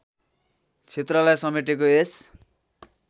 क्षेत्रलाई समेटेको यस